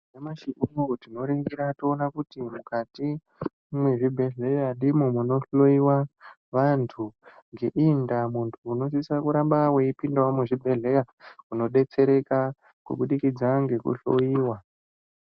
Nyamashi unou tinoningira toona kuti mukati mwezvibhehlera ndimo munohloyiva vantu ngeiyi ndaa muntu unosise kunge veipindavo muzvibhehlera unodetsereka ngendaa yekuhloyiva.